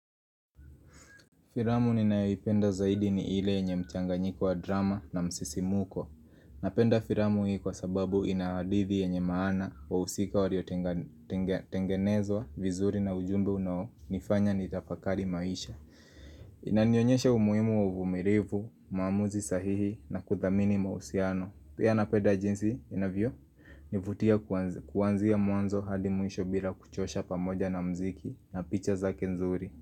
Firamu ninayoipenda zaidi ni ile yenye mchanganyiko wa drama na msisimuko. Napenda firamu hii kwa sababu ina hadithi yenye maana wahusika walio tengenezwa, vizuri na ujumbe unao nifanya nitafakari maisha. Inanionyesha umuhimu wa uvumilivu, maamuzi sahihi na kuthamini mausiano. Pia nanpeda jinsi inavyonivutia kuanzia mwanzo hadi mwisho bila kuchosha pamoja na mziki na picha zake nzuri.